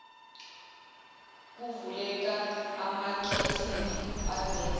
kuvuleka amakhethini aveza